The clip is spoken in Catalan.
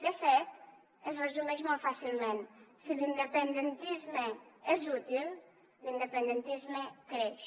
de fet es resumeix molt fàcilment si l’independentisme és útil l’independentisme creix